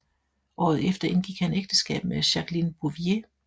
Året efter indgik han ægteskab med Jacqueline Bouvier